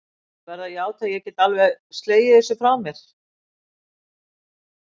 Ég verð að játa að ég get ekki alveg slegið þessu frá mér.